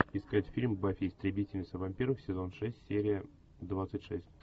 искать фильм баффи истребительница вампиров сезон шесть серия двадцать шесть